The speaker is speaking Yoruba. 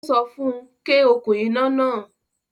Ó sọ fún UN; ké okún iná náà